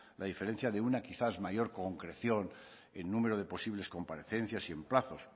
la diferencia de una quizás mayor concreción en número de posibles comparecencias y en plazos